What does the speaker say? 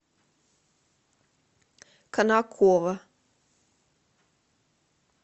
конаково